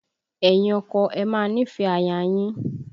Ẹ̀yin ọkọ, ẹ máa nífẹ̀ẹ́ aya yín!